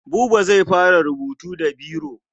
Buba zai fara rubutu da biro.